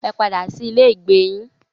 Ẹ padà sí ilé ìgbé yín.